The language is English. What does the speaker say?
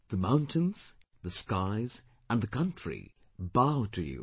The mountains, the skies and the country bow to you